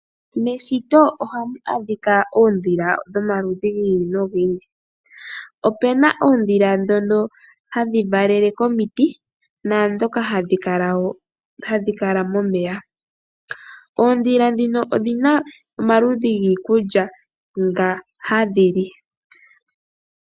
Meshito ohamu adhika oondhila dhomaludhi gi ili nogi ili opuna oondhila dhoka hadhi valele komiti naadhoka hadhi kala momeya. Oodhila dhika odhina omaludhi giikulya nga hadhi li.